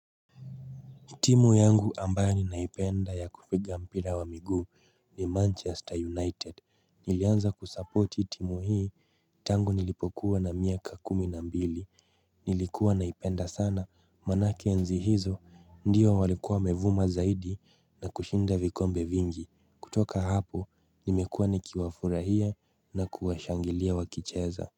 Timu yangu ambayo ninaipenda ya kupiga mpira wa miguu ni Manchester United. Nilianza kusupporti timu hii. Tangu nilipokuwa na miaka kuminambili. Nilikuwa naipenda sana. Maanake enzi hizo ndio walikuwa wamevuma zaidi na kushinda vikombe vingi. Kutoka hapo nimekuwa nikiwa furahia na kuwashangilia wakicheza.